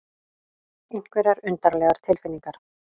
Einhverjar undarlegar tilfinningar.